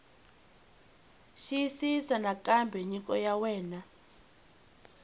xiyisisisa nakambe nyiko ya wena